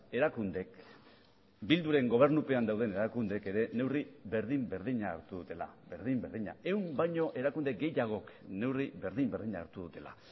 erakundek bilduren gobernupean dauden erakundeek ere neurri berdin berdina hartu dutela berdin berdina ehun baino erakunde gehiagok neurri berdin berdina hartu dutela